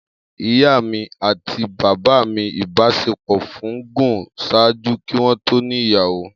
Iya mi ati baba mi ibaṣepọ fun gun ṣaaju ki wọn to ni iyawo.